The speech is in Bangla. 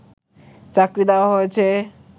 চাকরি দেওয়া হয়েছে